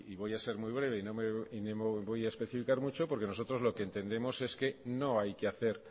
voy a ser muy breve y no me voy a especificar mucho porque nosotros lo que entendemos es que no hay que hacer